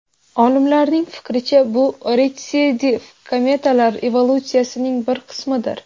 Olimlarning fikricha, bu retsidiv kometalar evolyutsiyasining bir qismidir.